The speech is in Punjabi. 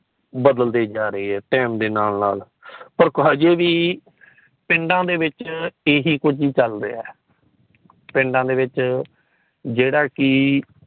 ਬਦਲ ਦੇ ਜਾਂ ਰਹੀਏ time ਦੇ ਨਾਲ ਨਾਲ ਪਰ ਅਜੇ ਵੀ ਪਿੰਡ ਵਿੱਚ ਇਹੀ ਕੁੱਜ ਚੱਲ ਰਹੀਆਂ। ਪਿੰਡ ਵਿੱਚ ਜੇੜਾ ਕਿ